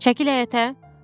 Çəkil həyətə!